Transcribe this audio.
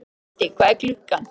Oddi, hvað er klukkan?